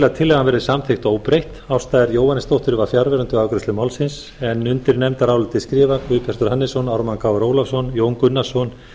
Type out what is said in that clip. að tillagan verði samþykkt óbreytt ásta r jóhannesdóttir var fjarverandi við afgreiðslu málsins undir nefndarálitið skrifa guðbjartur hannesson ármann krónu ólafsson jón gunnarsson